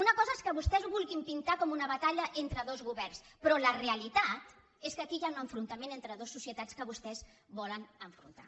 una cosa és que vostès ho vul·guin pintar com una batalla entre dos governs però la realitat és que aquí hi ha un enfrontament entre du·es societats que vostès volen enfrontar